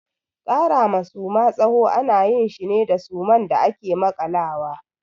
Kara ma Suma tsawo ana yin shi ne da suman da ake makalawa.